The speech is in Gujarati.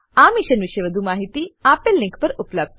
આ મિશન પર વધુ માહિતી આપેલ લીંક પર ઉપલબ્ધ છે